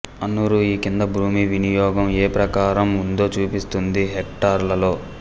అన్నూరు ఈ కింది భూమి వినియోగం ఏ ప్రకారం ఉందో చూపిస్తుంది హెక్టార్లలో